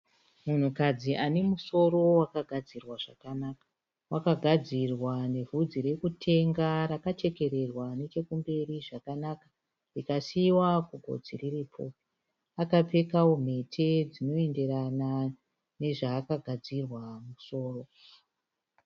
Munhukadzi anemusoro wakagadzirwa zvakanaka. Wakagadzirwa nevhudzi rekutenga rakachekererwa nechekumberi zvakanaka rikasiiwa kugotsi riri pfupi. Akapfekawo mhete dzinoenderana nezvaakagadzirwa mumusoro.